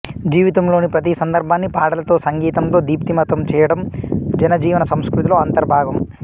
జీవితంలోని ప్రతి సందర్భాన్ని పాటలతో సంగీతంతో దీప్తిమంతం చేయడం జనజీవన సంస్కృతిలో అంతర్భాగం